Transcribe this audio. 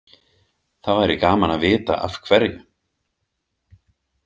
Það væri gaman að vita af hverju.